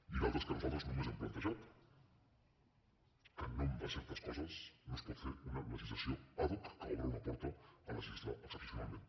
i d’altres que nosaltres només hem plantejat que en nom de certes coses no es pot fer una legislació ad hoc que obre una porta a legislar excepcionalment